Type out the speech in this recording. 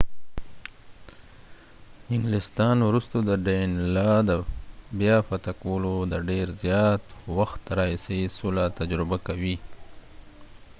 انګلستان وروسته د danelaw د بیا فتح کولو د ډیر زیات وخت راهیسې سوله تجربه کوي